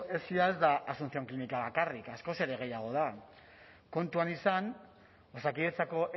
esi ez da asuncion klinika bakarrik askoz ere gehiago da kontuan izan osakidetzako